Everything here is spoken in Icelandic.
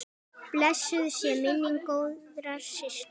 Blessuð sé minning góðrar systur.